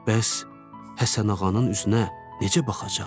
Bəs Həsənağanın üzünə necə baxacaqdı?